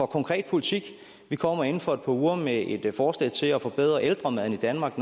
konkret politik vi kommer inden for et par uger med et forslag til at forbedre ældremaden i danmark